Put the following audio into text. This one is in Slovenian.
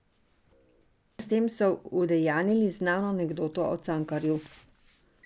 S tem so udejanjili znano anekdoto o Cankarju.